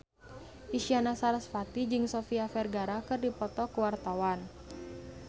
Isyana Sarasvati jeung Sofia Vergara keur dipoto ku wartawan